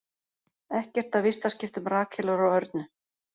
Ekkert af vistaskiptum Rakelar og Örnu